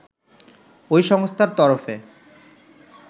ওই সংস্থার তরফে